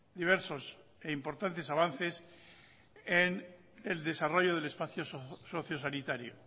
diversos e importantes avances en el desarrollo del espacio socio sanitario